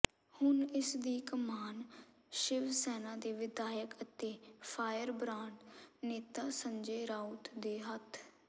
ਹੁਣ ਇਸ ਦੀ ਕਮਾਨ ਸ਼ਿਵਸੈਨਾ ਦੇ ਵਿਧਾਇਕ ਅਤੇ ਫ਼ਾਇਰ ਬਰਾਂਡ ਨੇਤਾ ਸੰਜੇ ਰਾਊਤ ਦੇ ਹੱਥ